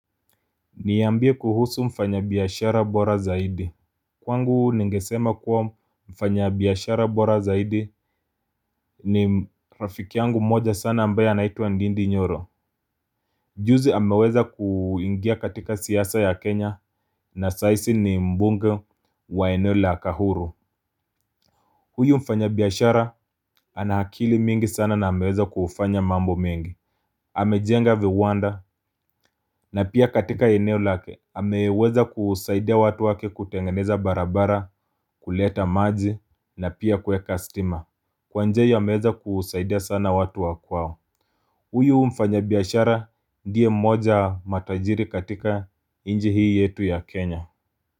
Niambie kuhusu mfanyabiashara bora zaidi Kwangu ningesema kuwa mfanyabiashara bora zaidi ni rafiki yangu mmoja sana ambaye anaitwa Ndindi Nyoro. Juzi ameweza kuingia katika siasa ya Kenya na sahizi ni mbunge wa eneo la kahuru Huyu mfanyabiashara ana akili mingi sana na ameweza kufanya mambo mengi. Amejenga viwanda na pia katika eneo lake ameweza kusaidia watu wake kutengeneza barabara, kuleta maji na pia kuweka stima. Kwa njia hii ameweza kusaidia sana watu wa kwao. Huyu mfanyabiashara ndiye mmoja matajiri katika nchi hii yetu ya Kenya.